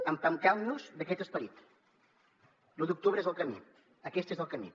empeltem nos d’aquest esperit l’u d’octubre és el camí aquest és el camí